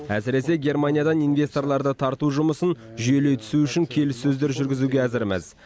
әсіресе германиядан инвесторларды тарту жұмысын жүйелей түсу үшін келіссөздер жүргізуге әзірміз